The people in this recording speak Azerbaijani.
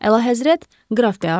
Əlahəzrət, qraf de Artua.